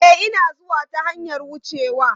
E, Ina zuwa ta hanyar wucewa.